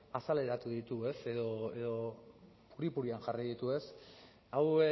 azaleratu ditu edo puri purian jarri ditu hau